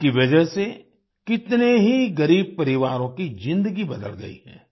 इसकी वजह से कितने ही गरीब परिवारों की जिंदगी बदल गई है